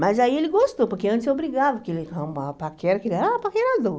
Mas aí ele gostou, porque antes eu brigava, porque ele arrumava paquera, que ele era um paquerador.